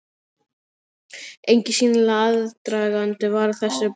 Enginn sýnilegur aðdragandi var að þessari breytingu.